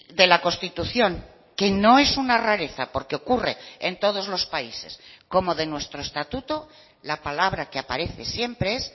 de la constitución que no es una rareza porque ocurre en todos los países como de nuestro estatuto la palabra que aparece siempre es